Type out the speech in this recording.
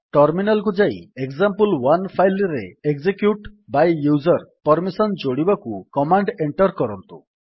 terminal କୁ ଯାଇ example one file ରେ ଏକଜେକ୍ୟୁଟ୍ ବାଏ ୟୁଜର୍ ପର୍ମିସନ୍ ଯୋଡିବାକୁ କମାଣ୍ଡ୍ ଏଣ୍ଟର୍ କରନ୍ତୁ